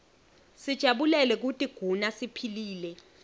sijabulele kutiguna siphilile